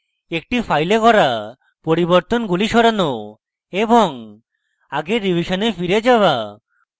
একটি file করা পরিবর্তনগুলি সরানো এবং আগের revision file যাওয়া